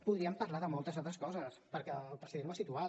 podríem parlar de moltes altres coses perquè el president ho ha situat